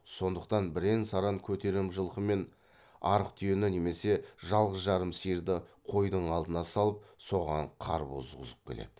сондықтан бірен саран көтерем жылқы мен арық түйені немесе жалғыз жарым сиырды қойдың алдына салып соған қар бұзғызып келеді